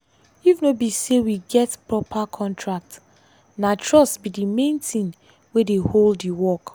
if no be say we get proper contract na trust be the main thing wey dey hold the work.